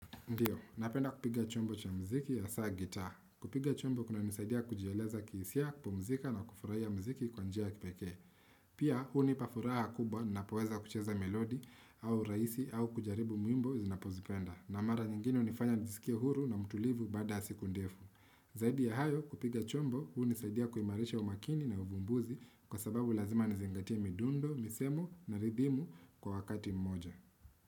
Ndiyo, napenda kupiga chombo cha muziki hasa guitar. Kupiga chombo kunanisaidia kujieleza kihisia kupumzika na kufurahia muziki kwa njia ya kipekee. Pia, hunipa furaha kubwa napoweza kucheza melodi au raisi au kujaribu muimbo zinapozipenda. Na mara nyingine hunifanya najisikia huru na mtulivu baada ya siku ndefu. Zaidi ya hayo, kupiga chombo, hunisaidia kuimarisha umakini na uvumbuzi kwa sababu lazima nizingatie midundo, misemo na ridhimu kwa wakati mmoja.